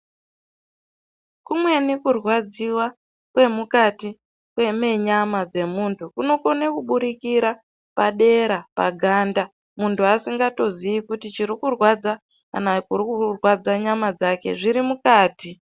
Kumweni kurwadziwa kwemukati menyama dzemuntu kunokone kuburikira padera, paganda. Muntu asingatozii kuti chirikurwadza kana kurikurwadza nyama dzake zviri mukati.